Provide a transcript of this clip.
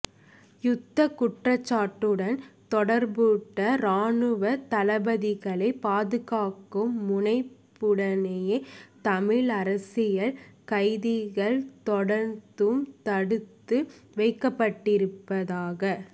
யுத்தக் குற்றச்சாட்டுடன் தொடர்புபட்ட இராணுவத் தளபதிகளை பாதுகாக்கும் முனைப்புடனேயே தமிழ் அரசியல் கைதிகள் தொடர்ந்தும் தடுத்து வைக்கப்பட்டிருப்பதாக